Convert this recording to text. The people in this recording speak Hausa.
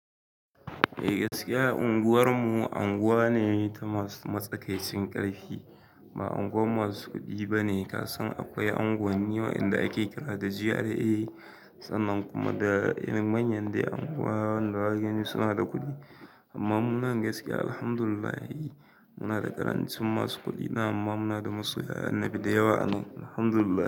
Eh gaskiya unguwarmu anguwa ne ta masu matsakaicin ƙarfi ba unguwan masu kuɗi ba ne. Kasan akwai anguwanni wa'yanda ake kira da GRA sannan kuma da irin manyan dai anguwa wanda zaka gani suna da kuɗi. Amma mu nan gaskiya Alhamdulillahi muna da ƙarancin masu kuɗi nan amma muna da masoya annabi da yawa anan Alhamdulillah.